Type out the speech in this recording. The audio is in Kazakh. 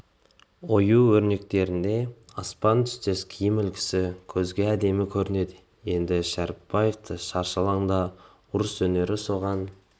ою-өрнектерінде аспан түстес киім үлгісі көзге әдемі көрінеді енді шәрібаевтың шаршы алаңдағы ұрыс өнері соған